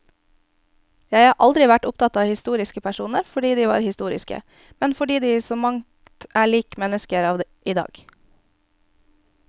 Jeg har aldri vært opptatt av historiske personer fordi de var historiske, men fordi de i så mangt er lik mennesker av i dag.